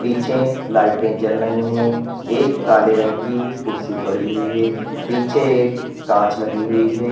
पीछे लाइटें जल रही हैं एक काले रंग की कुर्सी पड़ी हुई है पीछे एक कांच लगी हुई है।